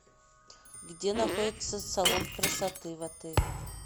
где находится салон красоты в отеле